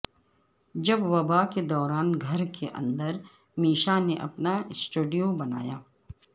جب وبا کے دوران گھر کے اندر میشا نے اپنا سٹوڈیو بنایا